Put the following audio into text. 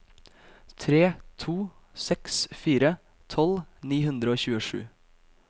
tre to seks fire tolv ni hundre og tjuesju